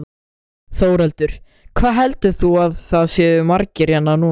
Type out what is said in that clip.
Þórhildur: Hvað heldur þú að það séu margir hérna núna?